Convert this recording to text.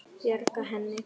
Bjarga henni?